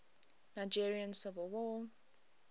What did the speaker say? nigerian civil war